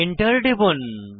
Enter টিপুন